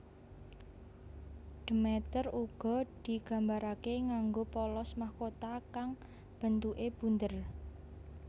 Demeter uga digambarake nganggo polos mahkota kang bentuke bunder